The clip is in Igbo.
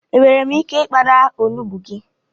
Enwèrè m ike I kpara onugbu gị?